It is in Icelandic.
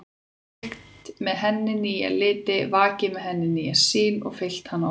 Kveikt með henni nýja liti, vakið með henni nýja sýn og fyllt hana orku.